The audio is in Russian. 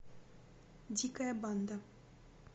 дикая банда